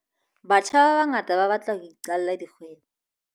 Batjha ba bangata ba batla ho iqalla dikgwebo.